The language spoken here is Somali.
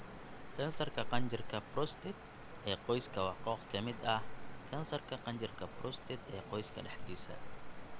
Kansarka qanjirka 'prostate' ee qoyska waa koox ka mid ah kansarka qanjirka 'prostate' ee qoyska dhexdiisa.